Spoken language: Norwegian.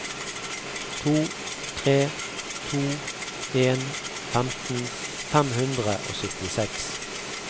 to tre to en femten fem hundre og syttiseks